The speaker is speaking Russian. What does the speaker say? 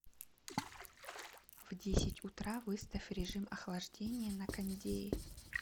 в десять утра выставь режим охлаждения на кондее